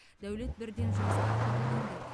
дәулет бірден жұмысқа қабылданды